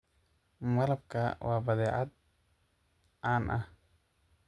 Malabka waa badeecad caan ah.